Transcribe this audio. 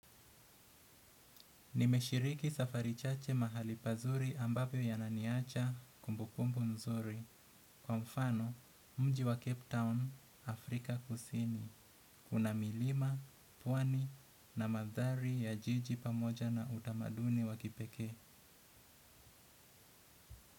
Nimeshiriki safari chache mahali pazuri ambapo yananiacha kumbukumbu nzuri kwa mfano mji wa Cape Town Afrika kusini kuna milima, pwani na mandhari ya jiji pamoja na utamaduni wa kipekee.